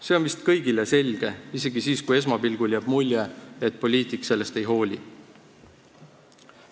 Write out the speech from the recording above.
See on vist kõigile selge, isegi siis, kui esmapilgul jääb mulje, et poliitik sellest ei hooli.